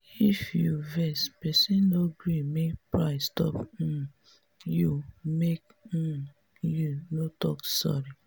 if you vex pesin no gree make pride stop um you make um you no talk sorry.